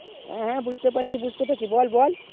হ্যাঁ হ্যাঁ বুঝতে পারছি বুঝতে পারছি বল বল